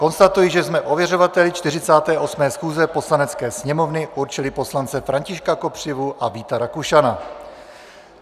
Konstatuji, že jsme ověřovateli 48. schůze Poslanecké sněmovny určili poslance Františka Kopřivu a Víta Rakušana.